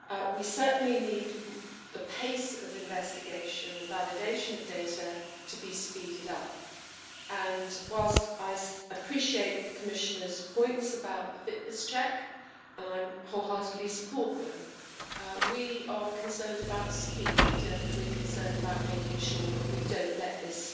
We certainly need the pace of investigation and validation of data to be speeded up and, whilst I appreciate the Commissioner's points about the fitness check and I wholeheartedly support them, we are concerned about speed and we are concerned about making sure that we don't let this